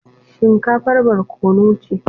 Shinkafar barkono ce.